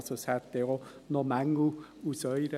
Aus Ihrer Sicht hätte es also auch Mängel.